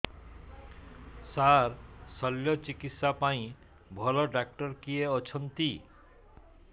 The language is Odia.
ସାର ଶଲ୍ୟଚିକିତ୍ସା ପାଇଁ ଭଲ ଡକ୍ଟର କିଏ ଅଛନ୍ତି